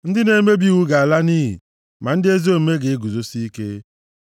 Ndị na-emebi iwu ga-ala nʼiyi, ma ndị ezi omume ga-eguzosi ike.